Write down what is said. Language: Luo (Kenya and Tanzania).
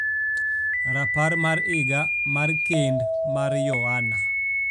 rapar mar higa mar kend mar Yohana